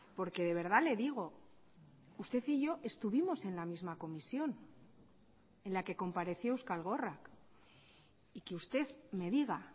porque de verdad le digo usted y yo estuvimos en la misma comisión en la que compareció euskal gorrak y que usted me diga